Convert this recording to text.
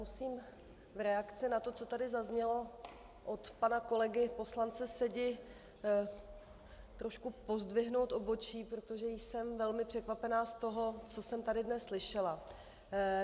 Musím v reakci na to, co tady zaznělo od pana kolegy poslance Sedi, trošku pozdvihnout obočí, protože jsem velmi překvapena z toho, co jsem tady dnes slyšela.